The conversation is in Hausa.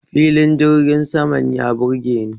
Filin jirgin saman ya burgeni.